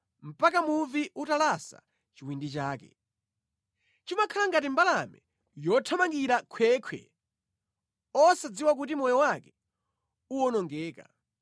mpaka muvi utalasa chiwindi chake, chimakhala ngati mbalame yothamangira mʼkhwekhwe, osadziwa kuti moyo wake uwonongeka.